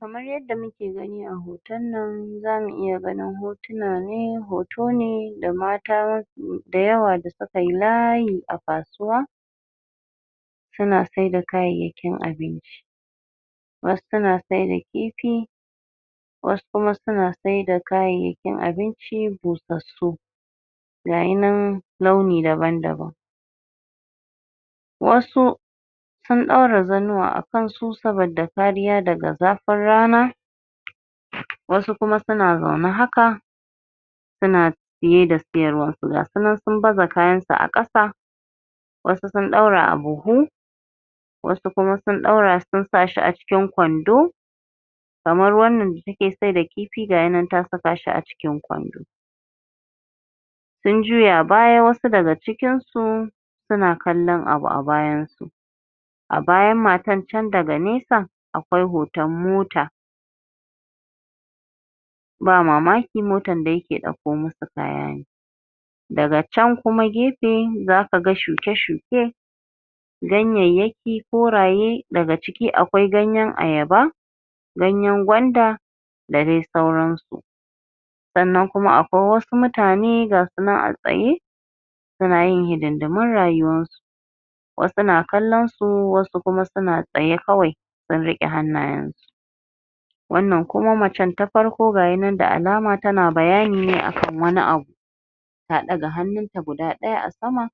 kamar yadda muke gani a ho.. tan nan zamu iya ganin ho tuna ne hoto ne da mata da yawa da suka kayi layi a ka suwa suna sai da kayayya kin abinci wasu suna sai da kifi wasu kuma suna sai da kayayyaki kin abinci busassu gayi nan launi daban-daban wasu sun ɗaura zannuwa a kansu saboda kariya daga za.. fin rana wasu kuma suna zaune haka suna siye da siyarwa gasu nan sun baza kayan su a ƙasa wasu sun ɗaura a buhu wasu kuma sun ɗaura sun sa shi a cikin kwando kamar wannan da ta ke sai da kifi gayi nan ta saka shi a cikin kwando sun juya bayan wasu daga cikin su suna kallon abu a bayan su a bayan matan chan daga nesa akwai hoton mota ba mamaki motan da ya ke ɗauko musu kaya ne daga chan kuma gefe za kaga shuke-shuke ganyayyaki koraye daga ciki akwai ganyen ayaba ganyen gwanda da dai sauran su sannan kuma akwai wa su mutane ga sunan a tsaye suna yin hidindimun rayuwarsu wasu na kallon su wasu kuma suna tsaye kawai sun riƙe hannayensu wannan kuma macen ta farko gayi nan da alama tana bayani ne akan wani abu ta ɗaga hannunta guda ɗaya a sama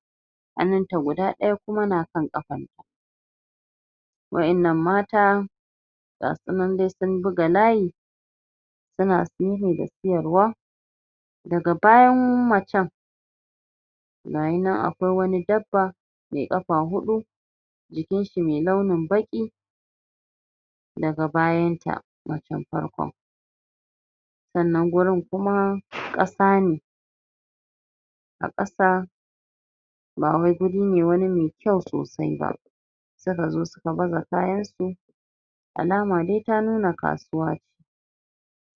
hannunta guda ɗaya kuma na kan ƙafanta wa'in nan mata ga sunan dai sun buga layi suna da siyarwa daga bayan macen gayi nan a kwai wani dabba mai ƙafa huɗu jikinshi mai launin baƙi daga bayan ta macen farkon sannan gurin kuma ƙasa ne a ƙasa ba wai gurine wani mai kyau ko suka zo suka baza kayansu alama dai ta nuna kasuwa ne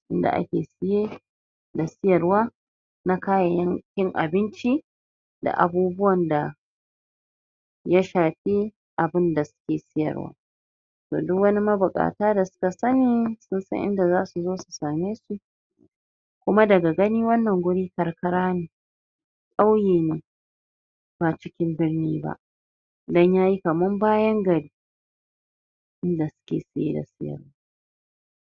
inda ake siye da siyarwa na kayan kin abinci da abubuwan da ya shafi abunda suke siyarwa toh duk wani mabuƙata da da sanni sun san inda za zasu sa me shi kuma daga gani wannan guri karkara ne ƙauye ne ba cikin birni ba don yayi kaman bayan gari inda suke siye da siyarwa